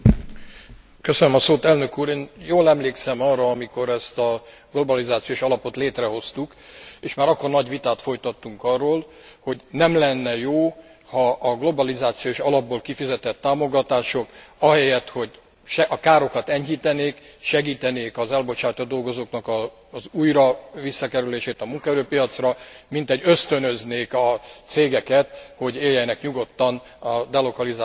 Én jól emlékszem arra, amikor ezt a globalizációs alapot létrehoztuk, és már akkor nagy vitát folytattunk arról, hogy nem lenne jó, ha a globalizációs alapból kifizetett támogatások ahelyett, hogy a károkat enyhítenék, segítenék az elbocsátott dolgozóknak az újra visszakerülését a munkaerőpiacra, mintegy ösztönöznék a cégeket, hogy éljenek nyugodtan a delokalizáció eszközével, hisz úgyis